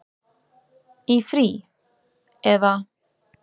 Í frí. eða?